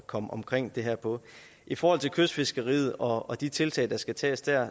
komme omkring det her på i forhold til kystfiskeriet og de tiltag der skal tages der